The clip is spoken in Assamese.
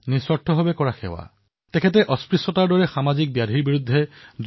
গুৰুনানক দেৱজীয়ে এই কথা মানি চলিছিল যে নিস্বাৰ্থ ভাৱেৰে কৰা সেৱাৰ কোনেও মূল্যৰে পৰিশোধ কৰিব নোৱাৰে